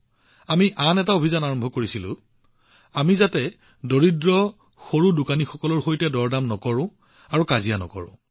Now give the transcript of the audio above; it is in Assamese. আমি আন এটা অভিযান আৰম্ভ কৰিছিলো যে আমি দৰিদ্ৰ ক্ষুদ্ৰ দোকানীসকলৰ সৈতে দৰদাম নকৰো আমি তেওঁলোকৰ সৈতে দৰদাম নকৰো